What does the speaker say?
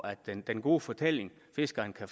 at den den gode fortælling fiskerne kan